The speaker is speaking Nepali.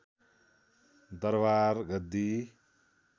दरवार गद्दी